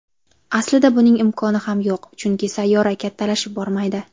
Aslida buning imkoni ham yo‘q, chunki sayyora kattalashib bormaydi.